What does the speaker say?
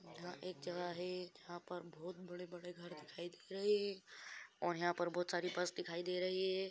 यह एक जगह है यहाँ पर बहुत बड़े-बड़े घर दिखाई दे रहे हैं और यहाँ पर बहुत सारी बस दिखाई दे रही है।